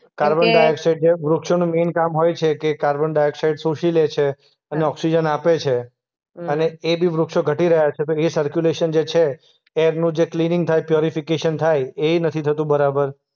Okay. Carbon dioxide જે વૃક્ષોનું main કામ હોય છે કે કાર્બન ડાયોક્સાઈડ શોષી લે છે અને ઓક્સિજન આપે છે. હમ્મ. અને એ બી વૃક્ષો ઘટી રહ્યા છે તો એ સરર્ક્યુલેશન જે છે એ એમનું જે ક્લીનીંગ થાય, પ્યોરિફિકેશન થાય. એય નથી થતું બરાબર.